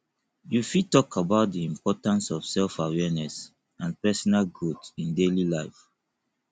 you fit talk about di importance of selfawareness and personal growth in daily life